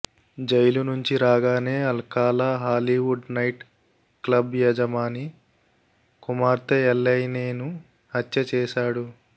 jail నుంచి రాగానే Alcala Hollywood night club యజమాని కుమార్తె ఎలైనేను హత్య చేశాడు